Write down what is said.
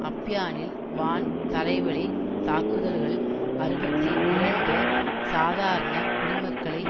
அப்யானில் வான் தரைவழி தாக்குதல்கள் அறுபத்தி இரண்டு சாதாரண குடிமக்களை